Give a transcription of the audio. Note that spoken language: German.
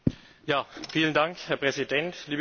Herr Präsident, liebe Kolleginnen und Kollegen!